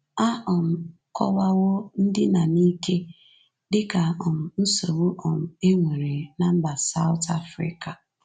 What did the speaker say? A um kọwawo ndina n’ike dị ka um nsogbu um e nwere ná mba South Africa.